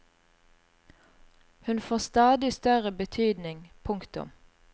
Hun får stadig større betydning. punktum